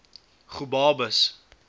gobabis